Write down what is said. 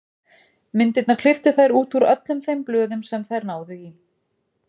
Myndirnar klipptu þær út úr öllum þeim blöðum sem þær náðu í.